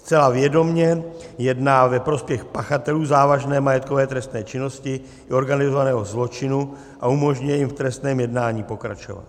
Zcela vědomě jedná ve prospěch pachatelů závažné majetkové trestné činnosti i organizovaného zločinu a umožňuje jim v trestném jednání pokračovat.